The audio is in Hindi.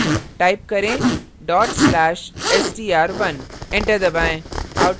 type करें dot slash/str1 enter दबाएँ